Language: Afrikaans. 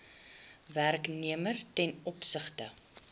werknemer ten opsigte